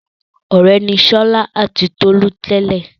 Ọ̀rẹ́ ni Ṣọlá àti Tolú tẹ́lẹ̀.